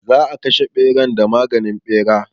Za a kashe ɓeran da maganin ɓera.